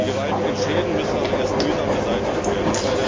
Die gewaltigen Schäden müssen aber erst mühsam beseitigt werden.